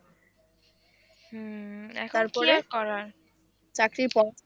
হম এখন কি আর করার?